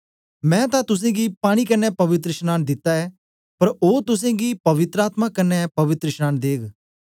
मैं तां तुसेंगी पानी कन्ने पवित्रशनांन दिता ऐ पर ओ तुसेंगी पवित्र आत्मा कन्ने पवित्रशनांन देग्ग